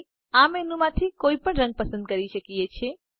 આપણે આ મેનુ માંથી કોઇપણ રંગ પસંદ કરી શકીયે છે